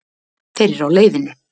Þeir eru á leiðinni.